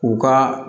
U ka